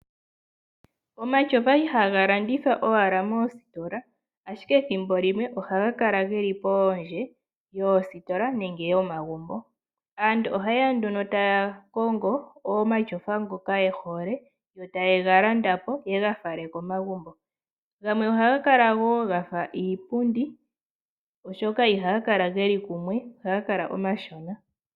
Omatyofa ihaga landithwa owala moositola, ashike thimbo limwe ohaga kala keli poondje yoositola nenge yomagumbo. Aantu ohaye ya nduno taya kongo omatyofa ngoka ye hole, yo taye ga landa po ye ga fale komagumbo. Gamwe ohaga kala wo gafa iipundi oshoka ihaga kala geli kumwe ihaga kala omashona.